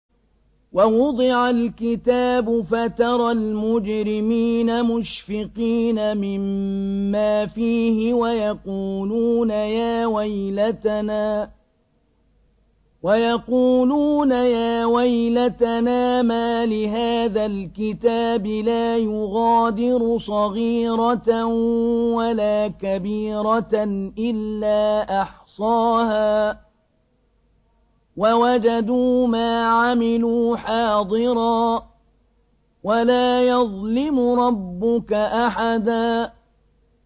وَوُضِعَ الْكِتَابُ فَتَرَى الْمُجْرِمِينَ مُشْفِقِينَ مِمَّا فِيهِ وَيَقُولُونَ يَا وَيْلَتَنَا مَالِ هَٰذَا الْكِتَابِ لَا يُغَادِرُ صَغِيرَةً وَلَا كَبِيرَةً إِلَّا أَحْصَاهَا ۚ وَوَجَدُوا مَا عَمِلُوا حَاضِرًا ۗ وَلَا يَظْلِمُ رَبُّكَ أَحَدًا